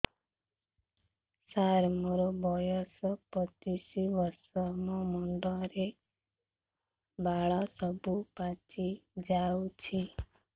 ସାର ମୋର ବୟସ ପଚିଶି ବର୍ଷ ମୋ ମୁଣ୍ଡରେ ବାଳ ସବୁ ପାଚି ଯାଉଛି